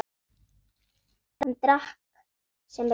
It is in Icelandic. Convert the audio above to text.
Hann drakk allt sem rann.